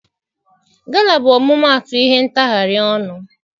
Gala bụ ọmụmaatụ ihe ntagharị ọnụ.